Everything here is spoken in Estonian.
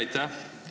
Aitäh!